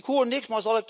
Ik hoor niks.